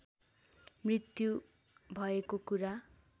मृत्यु भएको कुरा